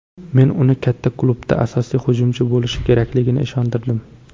Men uni katta klubda asosiy hujumchi bo‘lishi kerakligiga ishontirdim.